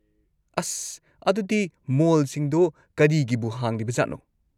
ꯑꯁ! ꯑꯗꯨꯗꯤ ꯃꯣꯜꯁꯤꯡꯗꯣ ꯀꯔꯤꯒꯤꯕꯨ ꯍꯥꯡꯂꯤꯕꯖꯥꯠꯅꯣ?